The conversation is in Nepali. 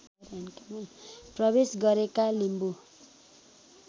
प्रवेश गरेका लिम्बू